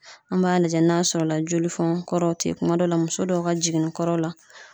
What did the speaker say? An b'a lajɛ n'a sɔrɔla jolifɔn kɔrɔ te kuma dɔ la muso dɔw ka jiginni kɔrɔ la